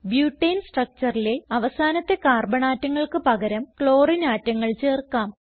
ബ്യൂട്ടനെ structureലെ അവസാനത്തെ കാർബൺ ആറ്റങ്ങൾക്ക് പകരം ക്ലോറിനെ ആറ്റങ്ങൾ ചേർക്കാം